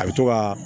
A bɛ to ka